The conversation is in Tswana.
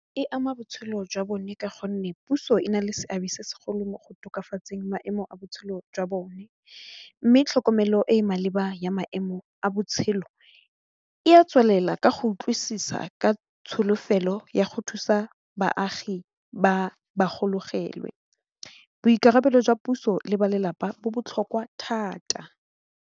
E ama botshelo jwa bone ka gonne puso e nale seabe se segolo mo go tokafatseng maemo a botshelo jwa bone mme tlhokomelo e e maleba ya maemo a botshelo e a tswelela ka go utlwisisa ka tsholofelo ya go thusa baagi ba ba gologelwe, boikarabelo jwa puso le balelapa bo botlhokwa thata.